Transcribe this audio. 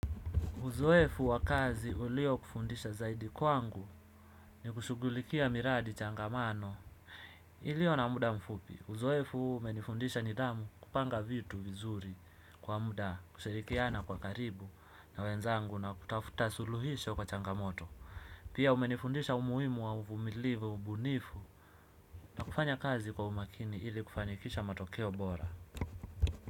Uzoefu wa kazi uliokufundisha zaidi kwangu ni kushughulikia miradi changamano ilio na muda mfupi. Uzoefu huu umenifundisha nidhamu kupanga vitu vizuri kwa muda kushirikiana kwa karibu na wenzangu na kutafuta suluhisho kwa changamoto. Pia umenifundisha umuhimu wa uvumilivu ubunifu na kufanya kazi kwa umakini ili kufanikisha matokeo bora.